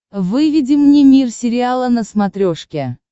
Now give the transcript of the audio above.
выведи мне мир сериала на смотрешке